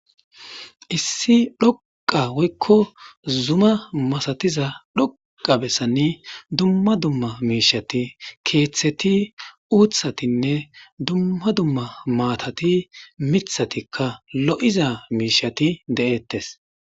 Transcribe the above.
Issi dhoqa woykko zuma masatiza dhoqa bessanni dumma dumma miishati keeththeti uuthatinne dumma dumma maatati mithatikka lo,iza miishati de,ettes.